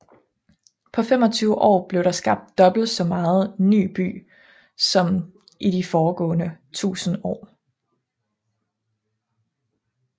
På 25 år blev der skabt dobbelt så meget ny by som i de foregående 1000 år